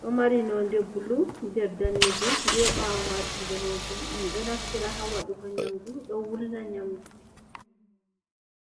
ɗo mari node bulu, nder danejum, be ɓawo majum danejum. Min doe naftira ha waɗugo nyamdu ɗo wulna nyamdu.